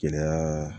Gɛlɛya